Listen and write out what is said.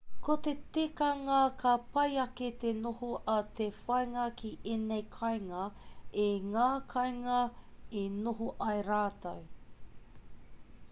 ko te tikanga ka pai ake te noho a te whāngai ki ēnei kāinga i ngā kainga i noho ai rātou